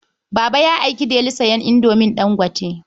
Baba ya aiki Delu sayan Indomin Ɗangote.